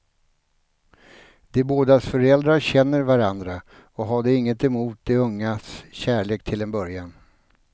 De bådas föräldrar känner varandra och hade inget emot de ungas kärlek, till en början.